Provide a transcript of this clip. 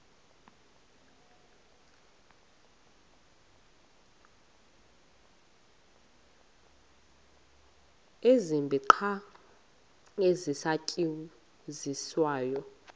zibini qha ezisasetyenziswayo